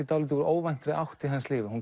dálítið úr óvæntri átt í hans lífi